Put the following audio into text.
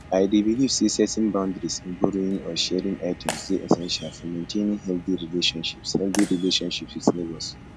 i dey believe say setting boundaries in borrowing or sharing items dey essential for maintaining healthy relationships healthy relationships with neighbors